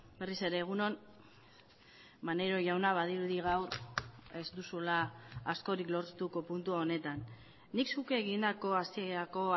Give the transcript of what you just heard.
berriz ere egun on maneiro jauna badirudi gaur ez duzula askorik lortuko puntu honetan nik zuk egindako hasierako